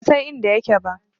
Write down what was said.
Ban san inda yake ba.